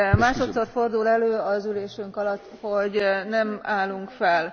Másodszor fordul elő az ülésünk alatt, hogy nem állunk fel.